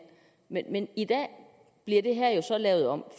men i dag bliver det her så lavet om